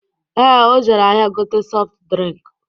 Ee, o jere ahịa gote sọft drịnk